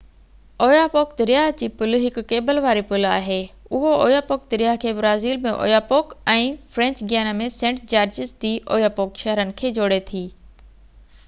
Oyapock دريا جي پل هڪ ڪيبل واري پل آهي اهو اويا پوڪ دريا کي Brazil ۾ Oyapock ۽ French Guiana ۾ Saint Georges de Oyapock شهرن کي جوڙي ٿي